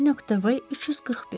V.V. 341.